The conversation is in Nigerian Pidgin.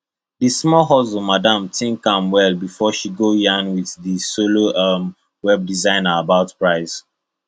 the small hustle madam think am well before she go yarn with her solo um web designer about price